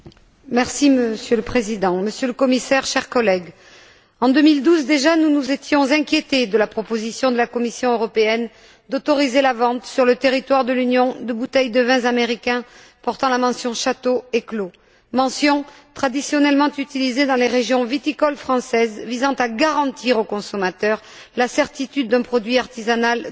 Monsieur le Président, Monsieur le Commissaire, chers collègues, en 2012 déjà, nous nous étions inquiétés de la proposition de la Commission européenne d'autoriser la vente sur le territoire de l'Union de bouteilles de vins américains portant la mention Château et Clos, mentions traditionnellement utilisées dans les régions viticoles françaises visant à garantir au consommateur la certitude d'un produit artisanal de qualité.